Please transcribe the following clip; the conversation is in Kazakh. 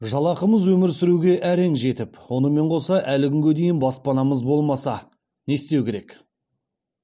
жалақымыз өмір сүруге әрең жетіп онымен қоса әлі күнге дейін баспанамыз болмаса не істеу керек